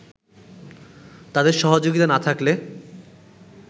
তাদের সহযোগিতা না থাকলে